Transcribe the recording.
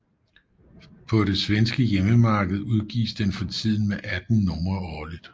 På det svenske hjemmemarked udgives den for tiden med 18 numre årligt